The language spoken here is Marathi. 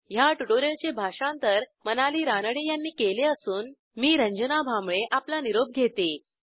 ह्या ट्युटोरियलचे भाषांतर मनाली रानडे यांनी केले असून मी आपला निरोप घेते160